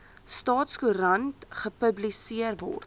staatskoerant gepubliseer word